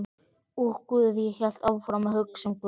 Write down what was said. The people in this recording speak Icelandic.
Og guð, ég hélt áfram að hugsa um guð.